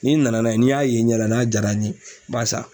N'i nana n'a ye n'i y'a ye n ɲɛna n'a jaara n ye n b'a san.